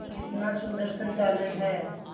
कितना सुंदर संचालन है